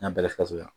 N'a bɛɛ faso la